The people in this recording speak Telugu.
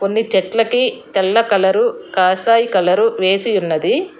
కొన్ని చెట్ల కి తెల్ల కలర్ కాషాయ కలర్ వేసి ఉన్నది.